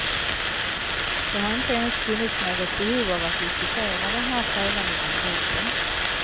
Det har inte ens funnits något behov av att diskutera den här frågan inom gruppen.